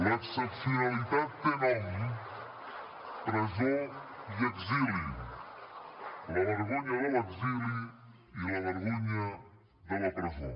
l’excepcionalitat té nom presó i exili la vergonya de l’exili i la vergonya de la presó